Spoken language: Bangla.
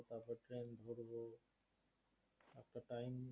time